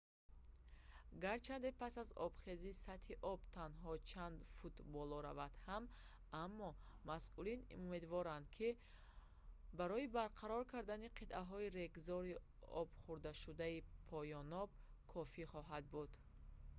гарчанде пас аз обхезӣ сатҳи об танҳо чанд фут боло равад ҳам аммо масъулин умедворанд ки он барои барқарор кардани қитъаҳои регзори обхӯрдашудаи поёноб кофӣ хоҳад буд